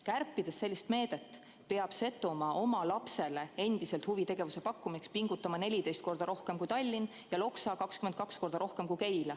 Kärpides sellist meedet, peab Setomaa oma lapsele huvitegevuse pakkumiseks pingutama 14 korda rohkem kui Tallinn ja Loksa 22 korda rohkem kui Keila.